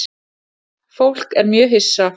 Fólk er mjög hissa